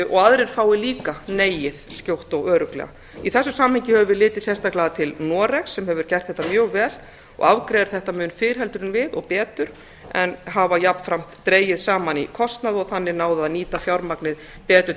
og aðrir fái leið skjótt og örugglega í þessu sambandi höfum við litið sérstaklega til noregs sem hefur gert þetta mjög vel og afgreiðir þetta mun fyrr heldur en við og betur en hafa jafnframt dregið saman í kostnað og þannig náð að nýta fjármagnið betur